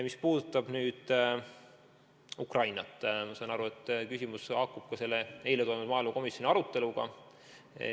Mis puudutab Ukrainat, siis ma saan aru, et küsimus haakub ka selle eile toimunud maaelukomisjoni aruteluga.